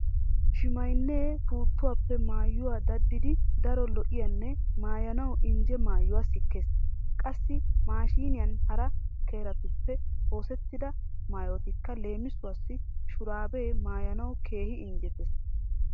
Shimaynnee puuttuwappe maayuwa daddidi daro lo'iyanne maayanawu injje maayuwa sikkees. Qassi maashiiniyan hara kiretuppe oosettida maayotikka leemisuwassi shuraabee maayanawu keehi injjetees.